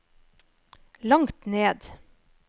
langt ned